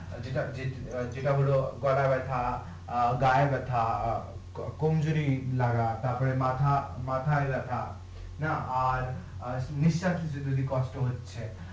যেটা হলো গলা ব্যাথা অ্যাঁ গাঁয়ে ব্যাথা অ্যাঁ কম জোরি লাগা তারপরে মাথা মাথাই ব্যাথা না আর আর নিঃশ্বাস নিতে কষ্ট হচ্ছে